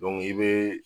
i bɛ